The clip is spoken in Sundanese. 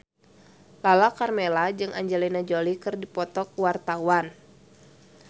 Lala Karmela jeung Angelina Jolie keur dipoto ku wartawan